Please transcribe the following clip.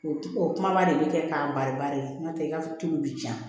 O o kuma de bɛ kɛ k'a bari bari n'o tɛ i ka tulu bɛ ja